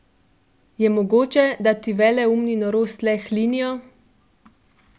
Je mogoče, da ti veleumi norost le hlinijo?